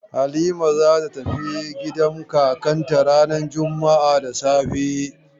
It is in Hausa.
Halima za ta tafi gidan kakanta ranar juma'a da safe.